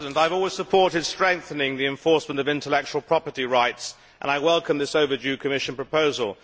Mr President, I have always supported strengthening the enforcement of intellectual property rights, and I welcome this overdue Commission proposal.